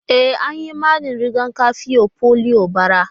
E, an yi mani riga-kafin polio bara.